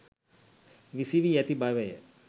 විසිවී ඇති බවය